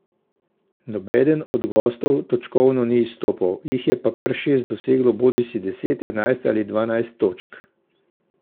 Nobeden od gostov točkovno ni izstopal, jih je pa kar šest doseglo bodisi deset, enajst ali dvanajst točk.